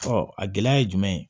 a gɛlɛya ye jumɛn ye